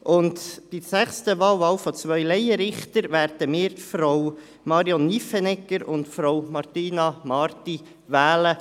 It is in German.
Bei der sechsten Wahl, zwei Laienrichtern, werden wir Frau Marion Nyffenegger und Frau Martina Marti wählen.